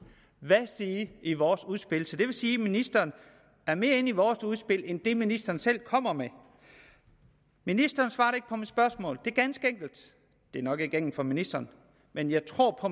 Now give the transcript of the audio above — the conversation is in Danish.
hver side i vores udspil så det vil sige at ministeren er mere inde i vores udspil end i det ministeren selv kommer med ministeren svarede ikke på mit spørgsmål det er ganske enkelt det er nok ikke enkelt for ministeren men jeg tror på